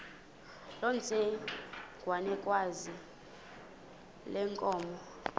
loo ntsengwanekazi yenkomo